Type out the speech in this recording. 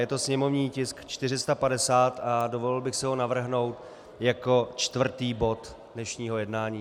Je to sněmovní tisk 450 a dovolil bych si ho navrhnout jako čtvrtý bod dnešního jednání.